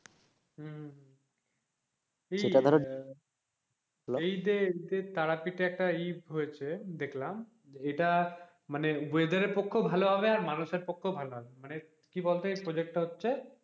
হম এই ই তে তে তারাপীঠে একটা ই হয়েছে দেখলাম এটা মানে weather পক্ষও ভালো হবে আবার মানুষের পক্ষও ভালো হবে কি বলতো এই project টা হচ্ছে,